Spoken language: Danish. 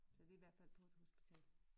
Så vi er i hvert fald på et hospital